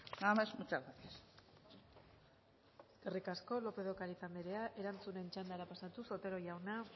nada más muchas gracias eskerrik asko lópez de ocariz andrea erantzunen txandara pasatuz otero jauna